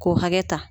K'o hakɛ ta